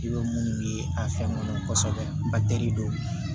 I bɛ munnu ye a fɛn kɔnɔ tɛ de don